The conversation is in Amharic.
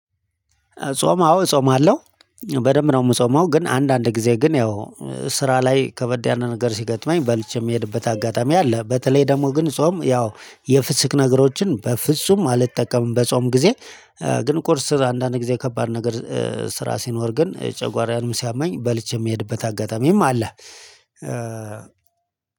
ጾም አዎ እጾማለው አለው በደንብ ነው የምጾመው ግን አንዳንድ ጊዜ ግን ያው ስራ ላይ ከበድ ያለ ነገር ሲገጥመኝ በልቼ የምሄድበት አጋጣሚ አለ። በተለይ ደግሞ ግን ጾም ያው የፍስክ ነገሮችን በፍጹም አልጠቀምም በጾም ጊዜ። ግን ቁርስ አንዳንድ ጊዜ ከባድ ነገር ስራ ሲኖር ግን ጨጓራዬንም ሲያመኝ በልቼ የሚሄድበት አጋጣሚም አለ።